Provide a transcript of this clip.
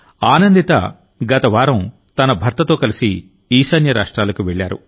ఆనందిత గత వారం తన భర్తతో కలిసి ఈశాన్య రాష్ట్రాలకు వెళ్లారు